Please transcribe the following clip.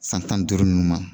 San tan ni duuru nunnu ma